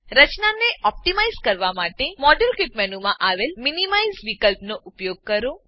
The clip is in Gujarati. રચનાને ઓપ્ટીમાઈઝ કરવા માટે મોડેલકીટ મેનુમાં આવેલ મિનિમાઇઝ મીનીમાઈઝ વિકલ્પનો ઉપયોગ કરો